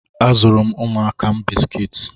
A zụụrụ m ụmụaka m bisikiti.